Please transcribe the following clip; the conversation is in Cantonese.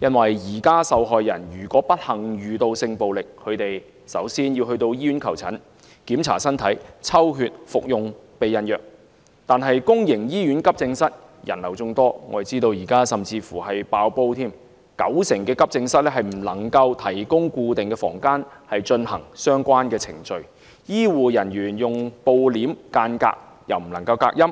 現時受害人如不幸遇到性暴力，她們首先要到醫院求診，檢查身體、抽血、服用避孕藥，但公營醫院急症室人流眾多，我們知道現時甚至已經"爆煲"，九成急症室不能提供固定房間進行相關程序，醫護人員只是用布簾間隔，又不能隔音，